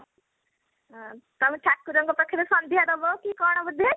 ଅଁ ତମେ ଠାକୁର ଙ୍କ ପାଖରେ ସଂନ୍ଧ୍ୟା ଦବ କି କଣ ବୋଧେ ?